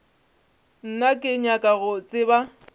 nna ke nyaka go tseba